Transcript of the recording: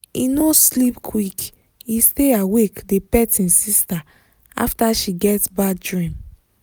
he no sleep quick he stay awake dey pet him sister after she get bad dream.